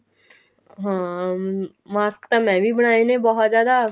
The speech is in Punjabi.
ਹਾਂ mask ਤਾਂ ਮੈਂ ਵੀ ਬਣਾਏ ਨੇ ਬਹੁਤ ਜਿਆਦਾ